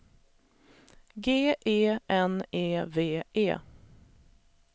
G E N E V E